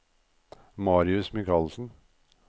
Marius Mikalsen